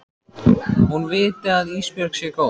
Hún viti að Ísbjörg sé góð.